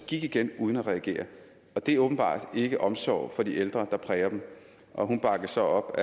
gik igen uden at reagere det er åbenbart ikke omsorg for de ældre der præger dem hun bakkes op